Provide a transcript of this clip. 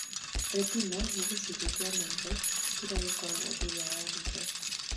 Retina nĩ gĩcunjĩ kĩa maitho kĩrĩa gĩkoragwo thutha wa ritho